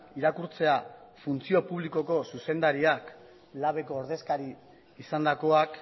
irakurtzea funtzio publikoko zuzendariak labeko ordezkaria izandakoak